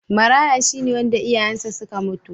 Maraya shi ne wanda iyayensa suka mutu.